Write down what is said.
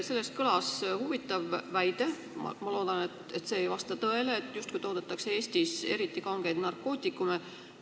Selles kõlas huvitav väide – ma loodan, et see ei vasta tõele –, justkui toodetaks Eestis eriti kangeid narkootikume.